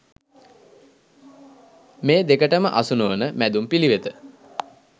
මේ දෙකටම අසු නොවන මැදුම් පිළිවෙත